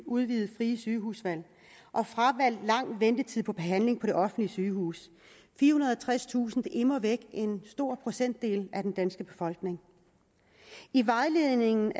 udvidede frie sygehusvalg og fravalgt lang ventetid for behandling på det offentlige sygehus firehundrede og tredstusind er immer væk en stor procentdel af den danske befolkning i vejledningen